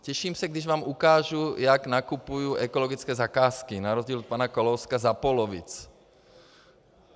Těším se, až vám ukážu, jak nakupuji ekologické zakázky na rozdíl od pana Kalouska za polovic.